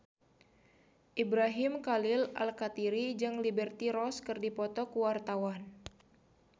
Ibrahim Khalil Alkatiri jeung Liberty Ross keur dipoto ku wartawan